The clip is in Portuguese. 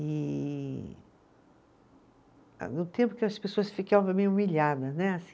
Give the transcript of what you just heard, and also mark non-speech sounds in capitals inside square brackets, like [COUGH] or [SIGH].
E, ah no tempo que as pessoas ficavam meio humilhadas, né? [UNINTELLIGIBLE]